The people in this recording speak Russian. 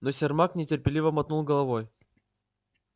но сермак нетерпеливо мотнул головой